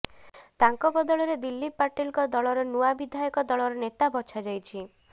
ତାଙ୍କ ବଦଳରେ ଦିଲ୍ଲୀପ ପାଟିଲଙ୍କ ଦଳର ନୂଆ ବିଧାୟକ ଦଳର ନେତା ବଛାଯାଇଛି